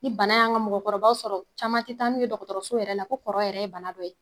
Ni bana y'an ka mɔgɔkɔrɔbaw sɔrɔ caman ti taa n'a ye dɔgɔtɔrɔso yɛrɛ la ko kɔrɔ yɛrɛ ye bana dɔ ye